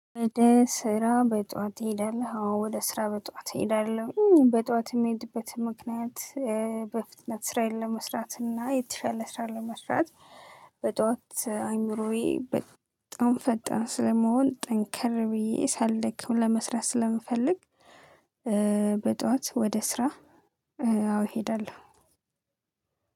ወደ ስራ በጥዋት ትሄዳለህ? አዎ ወደ ስራ በጥዋት እሄዳለሁ። በጥዋት የሚሄድበት ምክንያት በፍጥነት ስራዬን ለመስራት እና የተሻለ ስራን ለመስራት። በጥዋት አይምሮዬ በጣም ፈጣን ስለምሆን ጠንከር ብዬ ሳልደክም ለመስራት ስለምፈልግ። በጥዋት ወደ ስራ። አዎ እሄዳለሁ።